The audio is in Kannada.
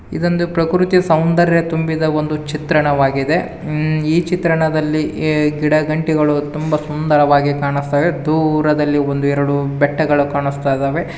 ಇದೊಂದು ಪ್ರಕೃತಿಯ ಸೌಂದರ್ಯ ತುಂಬಿದ ಒಂದು ಚಿತ್ರಣವಾಗಿದೆ ಮ್ಈ ಚಿತ್ರಣದಲ್ಲಿ ಇ ಗಿಡ ಗಂಟೆಗಳು ತುಂಬಾ ಸುಂದರವಾಗಿ ಕಾಣಸ್ತಾವೆ ದೂರದಲ್ಲಿ ಒಂದು ಎರಡು ಬೆಟ್ಟಗಳು ಕಾಣಿಸ್ತಾ ಇದಾವೆ.